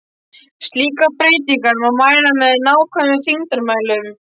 Slíkar breytingar má mæla með nákvæmum þyngdarmælum.